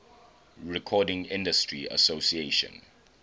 recording industry association